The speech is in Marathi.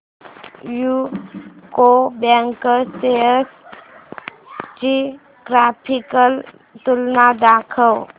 यूको बँक शेअर्स ची ग्राफिकल तुलना दाखव